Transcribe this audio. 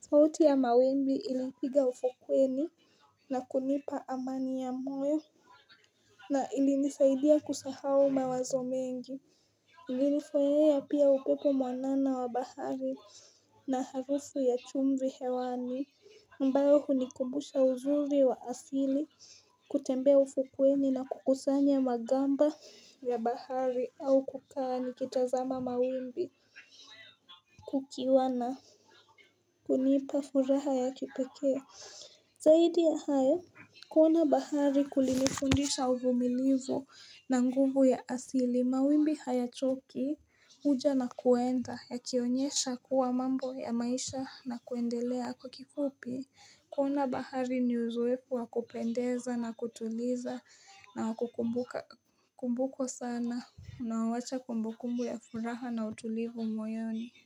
sauti ya mawimbi ilipiga ufokweni, na kunipa amani ya moyo, na ilinisaidia kusahau mawazo mengi, Nilifurahia pia upepo mwanana wa bahari na harufu ya chumvi hewani mbao hunikumbusha uzuri wa asili kutembea ufukuweni na kukusanya magamba ya bahari, au kukaa nikitazama mawimbi Kukiwa na kunipa furaha ya kipekee Zaidi ya hayo, kuona bahari kulilifundisha uvumilivu, na nguvu ya asili. Mawimbi hayachoki huja na kuenda ya kionyesha kuwa, mambo ya maisha na kuendelea kwa kifupi kuona bahari ni uzoeefu wakupendeza na kutuliza, na wakukumbukwo sana, na wawacha kumbu kumbu ya furaha na utulivu moyoni.